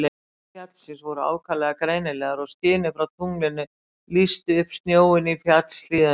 Útlínur fjallsins voru ákaflega greinilegar og skinið frá tunglinu lýsti upp snjóinn í fjallshlíðunum.